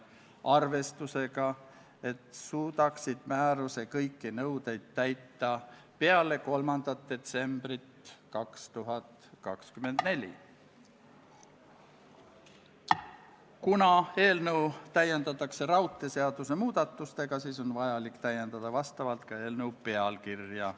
Käesoleva aasta 5. novembril ehk eile toimus riigikaitse- ja väliskomisjoni ühine väljasõiduistung Kaitseväe peastaapi, kus Kaitseväe esindaja ehk Kaitseväe juhataja andis ülevaate missioonidest eri piirkondades ja sellest, mis seal toimub.